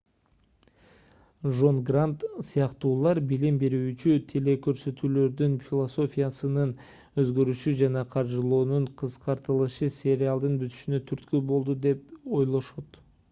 жон грант сыяктуулар билим берүүчү телекөрсөтүүлөрдүн философиясынын өзгөрүшү жана каржылоонун кыскартылышы сериалдын бүтүшүнө түрткү болду деп ойлошот